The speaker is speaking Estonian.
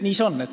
Nii see on.